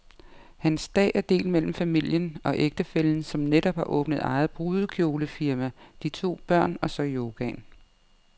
Hans dag er delt mellem familien, ægtefællen som netop har åbnet eget brudekjolefirma, de to børn, og så yogaen.